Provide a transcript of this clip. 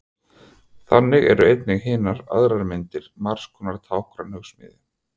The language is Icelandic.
Þannig eru einnig hinar aðrar myndir margskonar táknræn hugsmíð.